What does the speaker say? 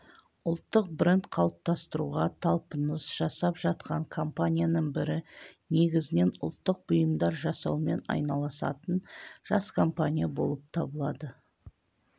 ұлттық бренд қалыптастыруға талпыныс жасап жатқан компанияның бірі негізінен ұлттық бұйымдар жасаумен айналысатын жас компания болып табылады